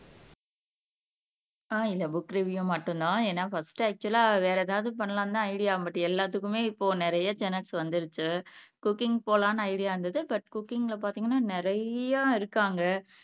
ஆஹ் இல்ல book review மட்டும்தான் ஏன்னா பர்ஸ்ட் அக்சுவலா வேற எதாவது பண்ணலாம்தான் ஐடியா பட் எல்லாத்துக்குமே இப்போ நிறைய சேனல்ஸ் வந்துருச்சு குக்கிங் போலாம்ன்னு ஐடியா இருந்தது பட் குக்கிங்ல பாத்தீங்கன்னா நிறைய இருக்காங்க